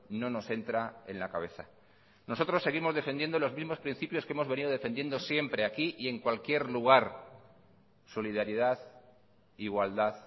no nos entra en la cabeza nosotros seguimos defendiendo los mismos principios que hemos venido defendiendo siempre aquí y en cualquier lugar solidaridad igualdad